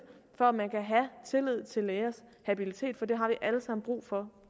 for at man kan have tillid til lægers habilitet for det har vi alle sammen brug for